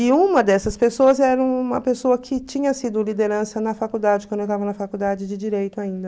E uma dessas pessoas era uma pessoa que tinha sido liderança na faculdade, quando eu estava na faculdade de Direito ainda.